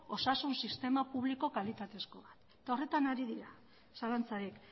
osasun sistema publiko kalitatezkoa eta horretan ari dira zalantzarik